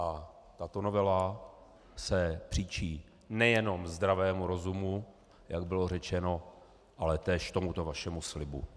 A tato novela se příčí nejenom zdravému rozumu, jak bylo řečeno, ale též tomuto vašemu slibu.